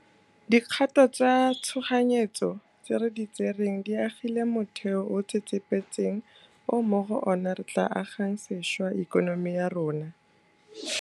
Dikgato tsa tshoganyetso tse re di tsereng di agile motheo o o tsetsepetseng o mo go ona re tla agang sešwa ikonomi ya rona.